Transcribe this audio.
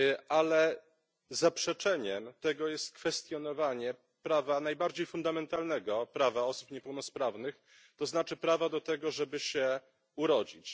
Ale zaprzeczeniem tego jest kwestionowanie prawa, najbardziej fundamentalnego prawa osób niepełnosprawnych, to znaczy prawa do tego, żeby się urodzić.